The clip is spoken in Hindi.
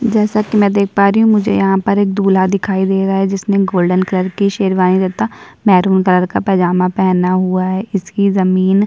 जैसा कि मैं देख प रही हूँ मुझे यहाँ पे एक दूल्हा दिखाई दे रहा है जिसने गोल्डन कलर की शेरवानी तथा महरूँ कलर का पाजामा पहना हुआ है। इसकी जमीन --